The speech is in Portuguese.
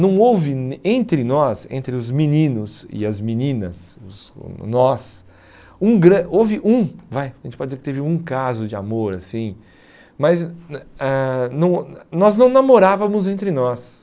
Não houve nem entre nós, entre os meninos e as meninas, os nós, um gran houve um, vai, a gente pode dizer que teve um caso de amor assim, mas ãh não nós não namorávamos entre nós.